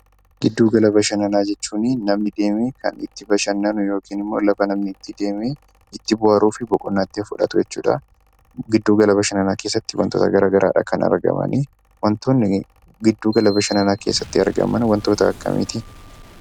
Giddu gala bashannanaa jechuunii namni deemee kan itti bashannanu yookin immoo lafa namni itti deemee itti bohaaruu fi boqonnaa itti fudhatu jechuudha. Giddu gala bashannanaa keessatti wantoota garaa garaadha kan argamanii. Wantoonni giddugala bashannanaa keessatti argaman wantoota akkamiiti?